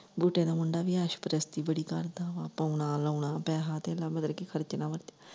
ਬੂਟੇ ਦਾ ਮੁੰਡਾ ਵੀ ਅਸ਼ ਪ੍ਰਸਤੀ ਬੜੀ ਕਰਦਾ ਵਾ, ਪਾਉਣਾ, ਲਾਉਣਾ, ਪੈਹਾ ਧੇਲਾ ਮਤਲਬ ਕੀ ਖਰਚਣਾ ਵਧ।